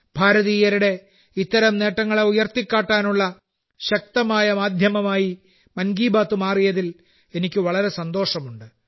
ഭാരതീയരുടെ ഇത്തരം നേട്ടങ്ങളെ ഉയർത്തിക്കാട്ടാനുള്ള ശക്തമായ മാധ്യമമായി മൻ കി ബാത്ത്മാറിയതിൽ എനിക്ക് വളരെ സന്തോഷമുണ്ട്